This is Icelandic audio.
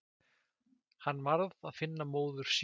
Hann varð að finna móður sína.